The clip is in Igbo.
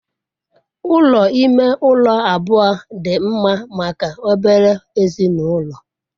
Ụlọ ime ụlọ abụọ dị mma maka obere ezinụlọ.